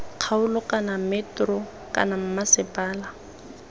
kgaolo kana metro kana mmasepala